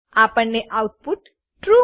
આપણને output true